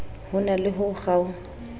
ho na le ho kgaokg